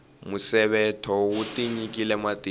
musevetho wu tinyikile matimba